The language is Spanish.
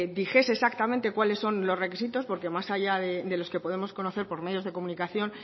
dijese exactamente cuáles son los requisitos porque más allá de los que podemos conocer por medios de comunicación